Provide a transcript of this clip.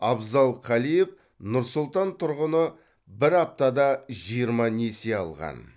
абзал калиев нұр сұлтан тұрғыны бір аптада жиырма несие алған